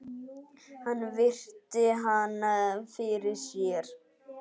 Hann virti hana fyrir sér.